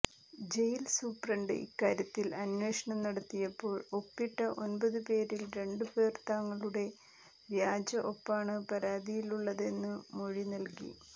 jail superintendent ഇക്കാര്യത്തിൽ അന്വേഷണം നടത്തിയപ്പോൾ ഒപ്പിട്ട ഒൻപതുപേരിൽ രണ്ടുപേർ തങ്ങളുടെ വ്യാജ ഒപ്പാണ് പരാതിയിലുള്ളതെന്നു മൊഴി നൽകി